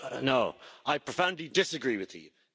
No, I profoundly disagree with you.